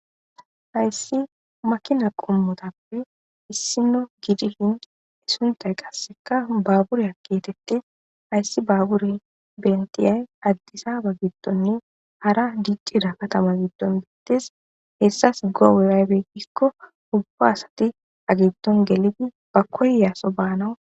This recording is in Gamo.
Hayssi makina qommothappe issinno gidishin sunththay qassikka baaburiyaa geeththeththees; hayssi baaburee henththiyay addisaaba giddoni hara diccida kathama giddon des; ethas go7oy aybe giikko ubba asathi ba giddon gelidi ba koyaso baanawu.